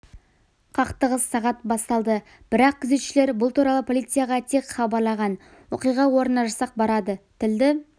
қақтығыс сағат басталды бірақ күзеттегілер бұл туралы полицияға тек хабарлаған оқиға орнына жасақ барады тілді